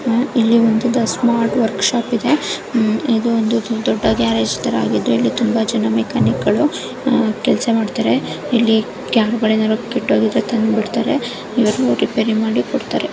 ಇದು ಒಂದು smart workshop ಆಗಿದೆ ಇದು ಗ್ರ್ಯಾರಗೆ ತಾರಾ ಆಗಿದ್ದು ಇಲ್ಲಿ ಬಹಳ ಮೆಕ್ಯಾನಿಕ್ ಗಳು ಕೆಲಸ ಮಾಡ್ತಾರೆ ಇವರು ಅದನ್ನು ರಿಪೇರ್ ಮಾಡಿಮ್ ಕೊಡುತ್ತಾರೆ.